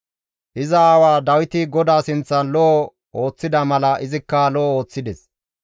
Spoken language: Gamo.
Iza aawa Dawiti GODAA sinththan lo7o ooththida mala izikka lo7o ooththides.